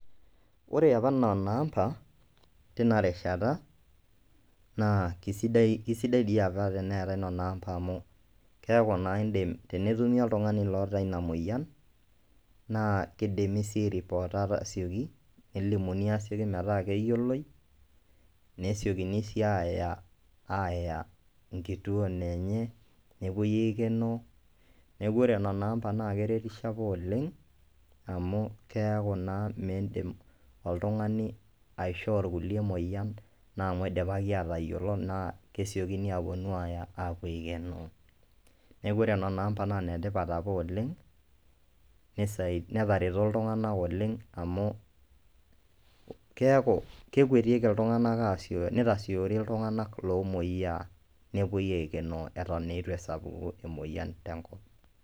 Ore apa nena amba teina rishata naa keisidai doi apa teneetai nena amba amu keeku naa indim netumi oltung'ani oota ina moyian naa keidimi sii air poota asioki elimuni metaa keyioloi nesiokini sii aaya enkituo enye nepuoi aikenoo neeku ore nena amba naa keretisho apa oleng amu keeku naa miindim oltung'ani aishoo irkulie emoyian naa amu eidipaki aatayiolo naa kesiokini aaponu aaaya aapuo aikenoo neeku ore nena amba naa inetipat apa oleng netarero iltung'anak oleng amu keeku kewketieki iltung'anak aasioyo iltung'anak loomoyiaa nepuoi aikenoo eton eitu esapuku emoyian tenkop.